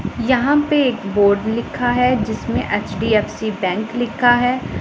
यहां पे एक बोर्ड लिखा है जिसमें एच_डी_एफ_सी बैंक लिखा है।